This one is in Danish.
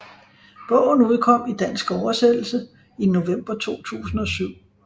Bogen udkom i dansk oversættelse i november 2007